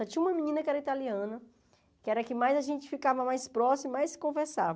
Só tinha uma menina que era italiana, que era a que mais a gente ficava mais próximo, mais se conversava.